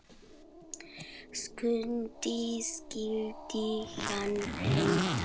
Skundi skyldi hann heita.